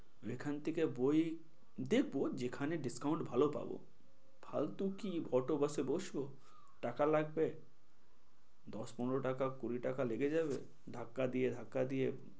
যেখান থেকে বই দেখবো যেখানে discount ভালো পাবো ফালতু কি auto, bus এ বসবো টাকা লাগবে দশ পনেরো টাকা কুড়ি টাকা লেগে যাবে ধাক্কা দিয়ে ধাক্কা দিয়ে.